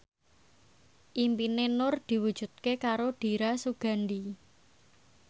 impine Nur diwujudke karo Dira Sugandi